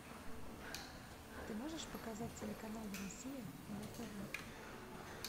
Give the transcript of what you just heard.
ты можешь показать телеканал россия на тв